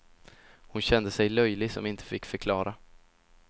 Hon kände sig löjlig som inte fick förklara.